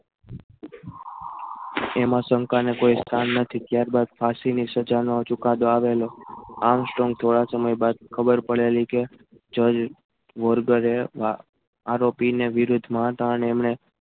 એમાં શંકાને કોઈ સ્થાન નથી ક્યારની ફાંસીની સજા નું હજુ ચુકાદો આવેલો આમસ્ટ્રોંગ થોડા સમય બાદ ખબર પડેલી કે જજમરગને આરોપીના વિરુદ્ધમાં હતા અને એમણે